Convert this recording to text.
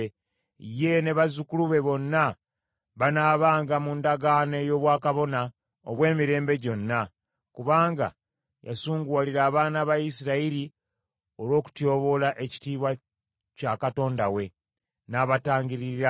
Ye, ne bazzukulu be bonna banaabanga mu ndagaano ey’obwakabona obw’emirembe gyonna, kubanga yasunguwalira abaana ba Isirayiri olw’okutyoboola ekitiibwa kya Katonda we, n’abatangiririra.’ ”